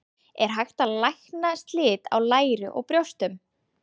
Er hægt að lækna slit á læri og brjóstum?